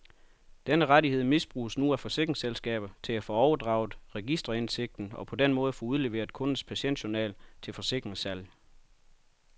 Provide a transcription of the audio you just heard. Denne rettighed misbruges nu af forsikringsselskaber til at få overdraget registerindsigten og på den måde få udleveret kundens patientjournal til forsikringssalg.